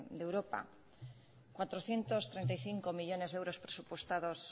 de europa cuatrocientos treinta y cinco millónes de euros presupuestados